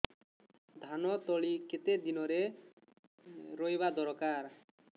ଧାନ ତଳି କେତେ ଦିନରେ ରୋଈବା ଦରକାର